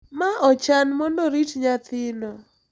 Ma ochan mondo orit nyathino.